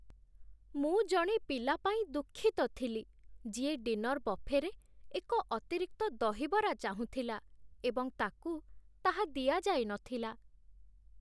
ମୁଁ ଜଣେ ପିଲା ପାଇଁ ଦୁଃଖିତ ଥିଲି ଯିଏ ଡିନର୍ ବଫେରେ ଏକ ଅତିରିକ୍ତ ଦହିବରା ଚାହୁଁଥିଲା ଏବଂ ତାକୁ ତାହା ଦିଆଯାଇ ନଥିଲା।